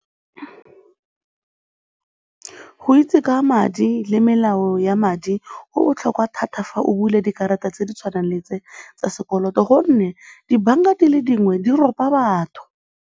Go itse ka madi le melao ya madi go botlhokwa thata fa o bula dikarata tse di tshwanang le tse tsa sekoloto gonne dibanka di le dingwe di ropa batho.